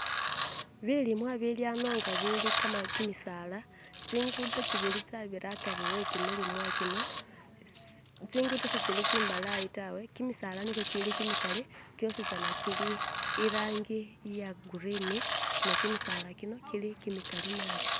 Bilimwa bili hano nga kimitsaala tsigundo tsibiri tsabira hakhari hekimilimwa kino tsigundo tsitsiri tsimbalayi tawe kimitsaala niyo kiri kimikari kosizana kiri elangi ya gurini nekitsaala kino kiri mikari nabi